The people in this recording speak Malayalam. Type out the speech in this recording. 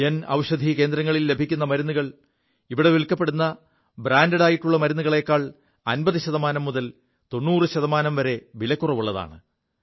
ജൻ ഔഷധി കേന്ദ്രങ്ങളിൽ ലഭിക്കു മരുുകൾ ഇവിടെ വിൽക്കപ്പെടു ബ്രാൻഡഡായിുള്ള മരുുകളെക്കാൾ 50 ശതമാനം മുതൽ 90 ശതമാനം വരെ വിലക്കുറവുള്ളതാണ്